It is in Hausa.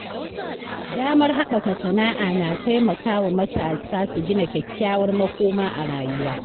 Damar haɓaka sana’a na taimakawa matasa su gina kyakkyawar makoma a rayuwa.